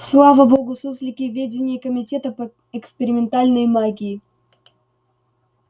слава богу суслики в веденьи комитета по экспериментальной магии